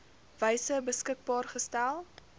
wyse beskikbaar gestel